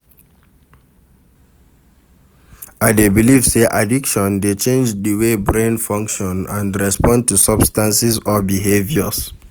I dey believe say addiction dey change di way brain function and respond to substances or behaviours.